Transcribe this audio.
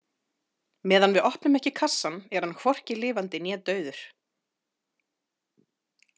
Meðan við opnum ekki kassann er hann hvorki lifandi né dauður.